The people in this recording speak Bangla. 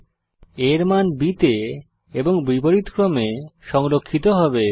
a এর মান b তে এবং বিপরীতক্রমে সংরক্ষিত হবে